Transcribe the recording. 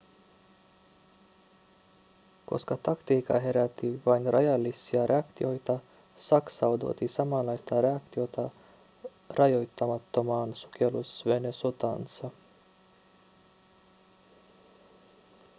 koska taktiikka herätti vain rajallisia reaktioita saksa odotti samanlaista reaktiota rajoittamattomaan sukellusvenesotaansa